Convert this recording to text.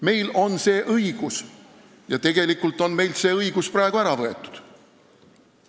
Meil on see õigus, kuid tegelikult on meilt see õigus praegu ära võetud.